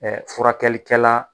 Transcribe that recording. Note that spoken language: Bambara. Furakɛlikɛla.